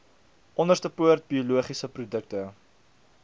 onderstepoort biologiese produkte